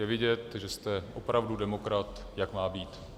Je vidět, že jste opravdu demokrat, jak má být.